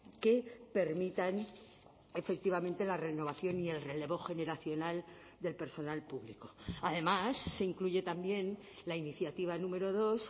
que permitan efectivamente la renovación y el relevo generacional del personal público además se incluye también la iniciativa número dos